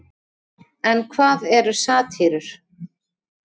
En hvað eru satírur?